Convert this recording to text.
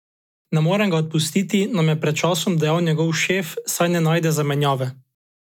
Ne morem ga odpustiti, nam je pred časom dejal njegov šef, saj ne najdem zamenjave.